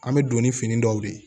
An bɛ don ni fini dɔw de ye